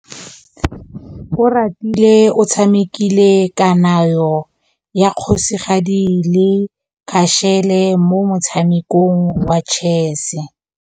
Oratile o tshamekile kananyô ya kgosigadi le khasêlê mo motshamekong wa chess.